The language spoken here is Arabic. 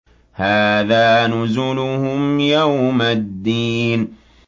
هَٰذَا نُزُلُهُمْ يَوْمَ الدِّينِ